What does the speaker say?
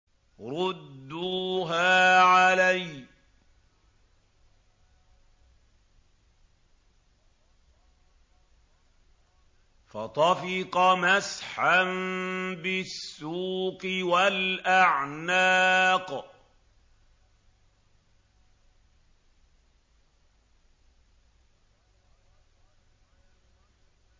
رُدُّوهَا عَلَيَّ ۖ فَطَفِقَ مَسْحًا بِالسُّوقِ وَالْأَعْنَاقِ